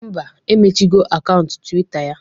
Ḿbà, emechigho akaụntụ twita ya